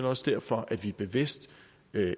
også derfor at vi bevidst